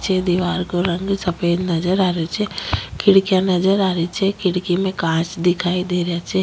पीछे दिवार को रंग सफ़ेद नजर आ रहे छे खिड़कियाँ नज़र आ री छे खिड़की में कांच दिखाई दे रिया छे।